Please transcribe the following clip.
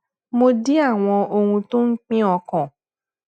mo dín àwọn ohun tó ń pín ọkàn